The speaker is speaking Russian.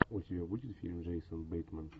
у тебя будет фильм джейсон бейтман